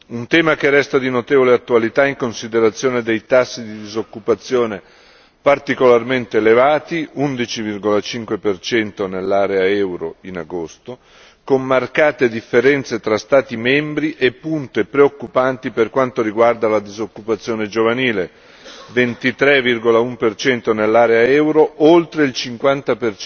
Un tema che resta di notevole attualità in considerazione dei tassi di disoccupazione particolarmente elevati 11,5 nell'area euro in agosto, con marcate differenze tra Stati membri e punti preoccupanti per quanto riguarda la disoccupazione giovanile 23,1 nell'area euro, oltre il 50